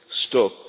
this stock.